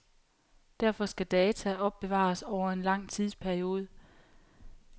Derfor skal data opbevares over en lang tidsperiode.